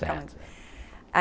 Certo.